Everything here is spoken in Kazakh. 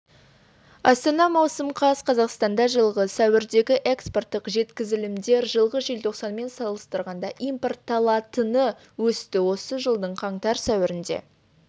астана маусым қаз қазақстанда жылғы сәуірдегі экспорттық жеткізілімдер жылғы желтоқсанмен салыстырғанда импортталатыны өсті осы жылдың қаңтар-сәуірінде